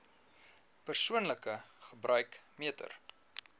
persoonlike gebruik meter